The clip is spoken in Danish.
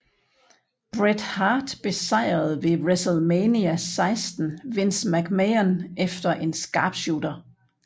Bret Hart besejrede ved WrestleMania XXVI Vince McMahon efter en sharpshooter